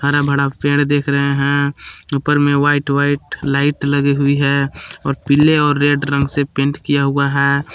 हरा भरा पेड़ दिख रहे हैं। ऊपर में व्हाइट व्हाइट लाइट लगी हुई है और पीले और रेड रंग से पेंट किया हुआ है।